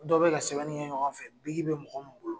Dɔ be ka sɛbɛnni kɛ ɲɔgɔn fɛ biki be mɔgɔ mi bolo